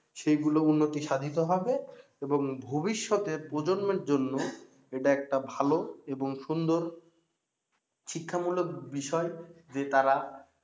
সেই গুলো উন্নত সাধিত হবে এবং ভবিষ্যতে প্রজন্মের জন্য এটা একটা ভালো এবং সুন্দর শিক্ষামূলক বিষয় যে তারা